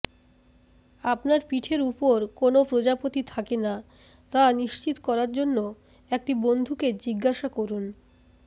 আপনার পিঠের উপর কোনও প্রজাপতি থাকে না তা নিশ্চিত করার জন্য একটি বন্ধুকে জিজ্ঞাসা করুন